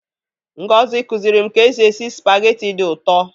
Ngozi kụziri m ka e si esi Spaghetti dị ụtọ.